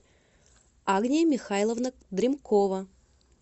агния михайловна дримкова